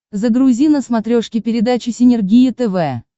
загрузи на смотрешке передачу синергия тв